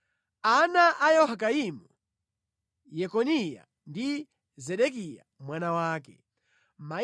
Ana a Yehoyakimu: Yekoniya ndi Zedekiya mwana wake.